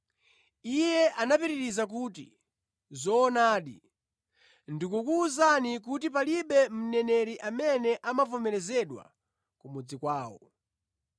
Iye anapitiriza kuti, “Zoonadi, ndikukuwuzani kuti palibe mneneri amene amavomerezedwa ku mudzi kwawo.